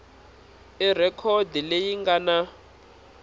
i rhekhodi leyi nga na